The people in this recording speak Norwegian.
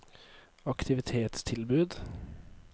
aktivitetstilbud